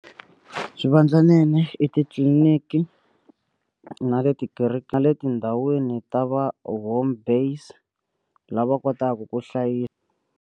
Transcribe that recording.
Swivandlanene i titliniki na le tikerekeni na le tindhawini ta va home based lava kotaka ku hlayisa.